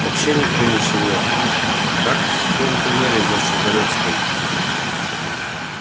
вообще никто ничего как в том туннеле за сухарёвской